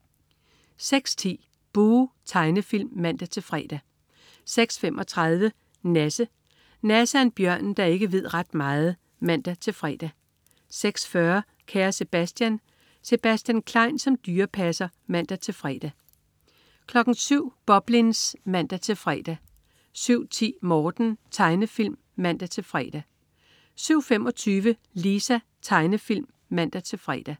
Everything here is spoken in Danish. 06.10 Buh! Tegnefilm (man-fre) 06.35 Nasse. Nasse er en bjørn, der ikke ved ret meget (man-fre) 06.40 Kære Sebastian. Sebastian Klein som dyrepasser (man-fre) 07.00 Boblins (man-fre) 07.10 Morten. Tegnefilm (man-fre) 07.25 Lisa. Tegnefilm (man-fre)